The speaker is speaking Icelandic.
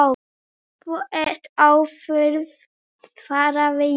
Þú ert óþörf, svaraði ég.